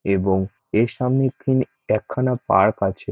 এবং এর সামনে একটি একখানা পার্ক আছে।